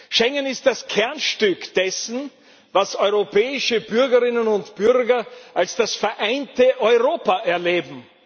Schengen ist das Kernstück dessen, was europäische Bürgerinnen und Bürger als das vereinte Europa erleben.